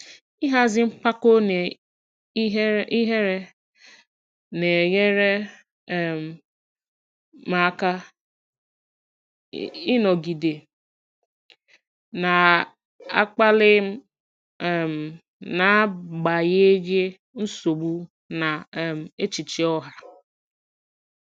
Ịhazi mpako na ihere na-enyere um m aka ịnọgide na-akpali um n'agbanyeghị nsogbu na um echiche ọha.